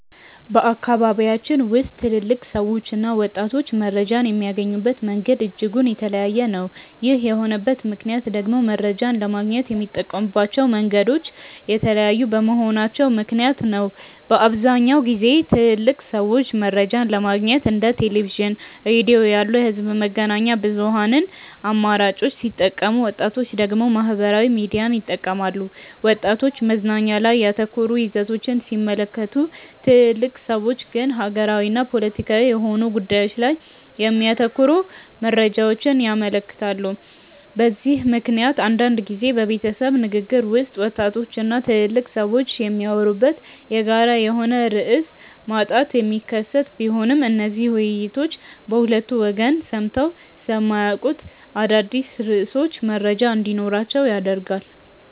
በአካባቢያችን ውስጥ ትልልቅ ሰዎችና ወጣቶች መረጃን የሚያገኙበት መንገድ እጅጉን የተለያየ ነው። ይህ የሆነበት ምክንያት ደግሞ መረጃን ለማግኘት የሚጠቀሙባቸው መንገዶች የተለያዩ በመሆናቸው ምክንያት ነው። በአብዛኛውን ጊዜ ትልልቅ ሰዎች መረጃን ለማግኘት እንደ ቴሌቪዥን፣ ሬዲዮ ያሉ የህዝብ መገናኛ ብዙሃን አማራጮችን ሲጠቀሙ ወጣቶች ደግሞ ማህበራዊ ሚዲያን ይጠቀማሉ። ወጣቶች መዝናኛ ላይ ያተኮሩ ይዘቶችን ሲመለከቱ ትልልቅ ሰዎች ግን ሀገራዊና ፖለቲካዊ የሆኑ ጉዳዮች ላይ የሚያተኩሩ መረጃዎችን ይመለከታሉ። በዚህ ምክንያት አንዳንድ ጊዜ በቤተሰብ ንግግር ውስጥ ወጣቶች እና ትልልቅ ሰዎች የሚያወሩበት የጋራ የሆነ ርዕስ ማጣት የሚከሰት ቢሆንም እነዚህ ውይይቶች በሁለቱ ወገን ሰምተው ስለማያውቁት አዳዲስ ርዕሶች መረጃ እንዲኖራቸው ያደርጋል።